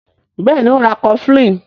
Béèni o ń rá cofflin.